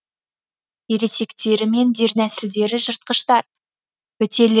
ересектері мен дернәсілдері жыртқыштар бітелер